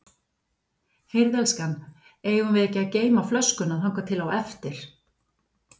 Heyrðu elskan, eigum við ekki að geyma flöskuna þangað til á eftir.